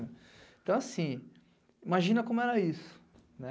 Então, assim, imagina como era isso, né?